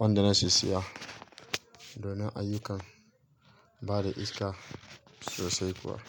wanda na sissiya don ayyukan bada iska sosai kuwa.